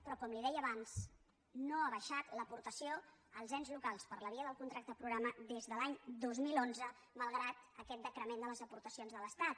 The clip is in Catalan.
però com li deia abans no ha baixat l’aportació als ens locals per la via del contracte programa des de l’any dos mil onze malgrat aquest decrement de les aporta cions de l’estat